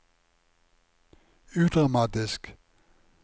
udramatisk